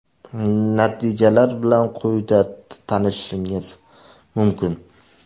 Natijalar bilan quyida tanishishingiz mumkin.